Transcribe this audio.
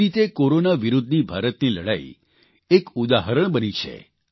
જે રીતે કોરોના વિરૂદ્ધની ભારતની લડાઇ એક ઉદાહરણ બની છે